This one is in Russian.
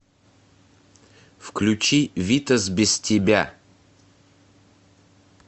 включи витас без тебя